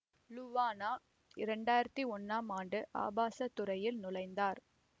Luana இரண்டாயிரத்தி ஒன்னாம் ஆண்டு ஆபாச துறையில் நுழைந்தார்